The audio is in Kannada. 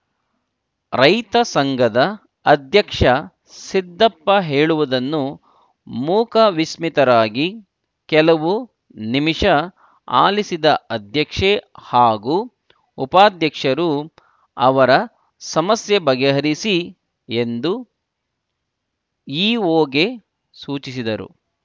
ರೈತ ಸಂಘದ ಅಧ್ಯಕ್ಷ ಸಿದ್ದಪ್ಪ ಹೇಳುವುದನ್ನು ಮೂಕಸ್ಮಿತರಾಗಿ ಕೆಲವು ನಿಮಿಷ ಆಲಿಸಿದ ಅಧ್ಯಕ್ಷೆ ಹಾಗೂ ಉಪಾಧ್ಯಕ್ಷರು ಅವರ ಸಮಸ್ಯೆ ಬಗೆಹರಿಸಿ ಎಂದು ಇಓಗೆ ಸೂಚಿಸಿದರು